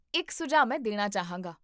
ਇੱਕ ਸੁਝਾਅ ਮੈਂ ਦੇਣਾ ਚਾਹਾਂਗਾ